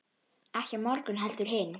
Ekki á morgun heldur hinn.